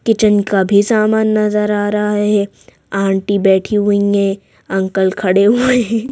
Kitchen का भी सामान नजर आ रहा है आंटी बैठी हुई हैं अंकल खड़े हुए हैं।